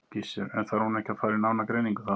Gissur: En þarf hún ekki að fara í nána greiningu þá?